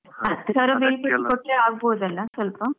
ಹತ್ತು ಸಾವಿರ ಮೇಲ್ ಕೊಟ್ರೆ ಆಗ್ಬಹುದಲ್ಲ ಸ್ವಲ್ಪ.